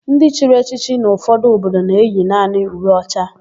Ndị chiri echiche n'ụfọdụ obodo na-eyi naanị uwe ọcha.